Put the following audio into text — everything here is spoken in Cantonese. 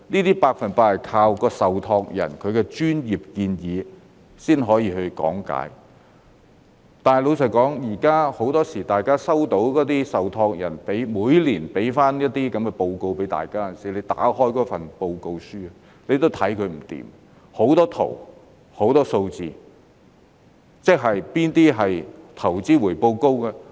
這些百分百要靠受託人的專業建議和講解，但老實說，大家每年收到受託人的報告書，怎樣看也看不明白，有很多圖表和很多數字，哪些是投資回報高的呢？